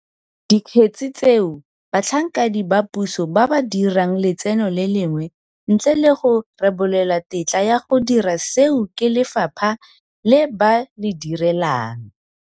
Dikgetse tseo batlhankedi ba puso ba ba dirang letseno le lengwe ntle le go rebolelwa tetla ya go dira seo ke lefapha le ba le direlang,